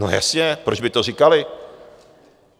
No jasně, proč by to říkali?